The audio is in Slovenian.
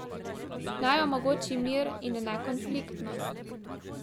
Naj omogoči mir in nekonfliktnost.